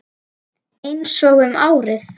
Einsog um árið.